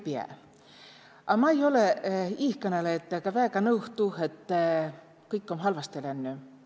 A ma'i olõ iihkõnõlõjatega väega nõu tuuh, et kõik om halvastõ lännü.